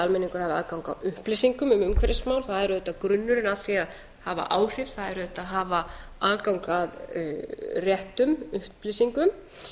almenningur hafi aðgang að upplýsingum um umhverfismál það er auðvitað grunnurinn að því að hafa áhrif það er auðvitað að hafa aðgang að réttum upplýsingum